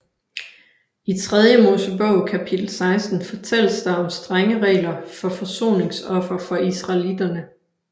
I Tredje Mosebog kapitel 16 fortælles der om strenge regler for forsoningsoffer for israeliterne